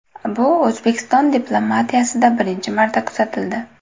Bu O‘zbekiston diplomatiyasida birinchi marta kuzatildi.